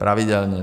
Pravidelně.